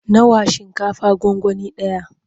Nawa shinkafa gwangwani ɗaya?